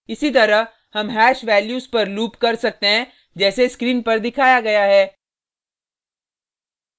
इसी तरह हम हैश वैल्यूज़ पर लूप कर सकते हैं जैसे स्क्रीन पर दिखाया गया है